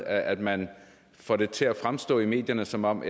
at man får det til at fremstå i medierne som om